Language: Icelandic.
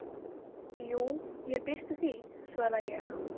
Jú, ég býst við því, svaraði ég.